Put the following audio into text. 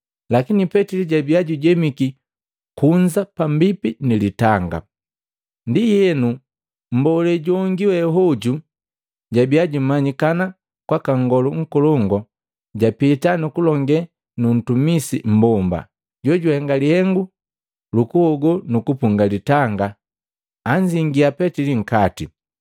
Lakini Petili jabiya jujemiki kunza pambipi ni litanga. Ndienu, mmbole jongi we hoju jojabiya jumanyikana kwaka Nngolu Nkolongu japita nukulongee nu ntumisi mmbomba, jojuhenga lihengu lukuhogo nukupunga litanga anzingia Petili nkati.